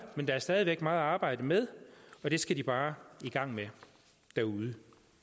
men der er stadig væk meget at arbejde med og det skal de bare i gang med derude